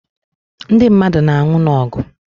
Ndị mmadụ na anwụ n'ogu